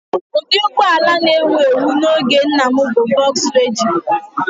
Ụdị ụgbọ ala a na-ewu ewu n'oge nna m bụ Volkswagen